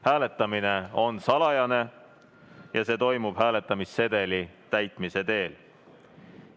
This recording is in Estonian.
Hääletamine on salajane ja see toimub hääletamissedeli täitmise teel.